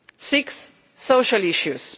Sixth social issues.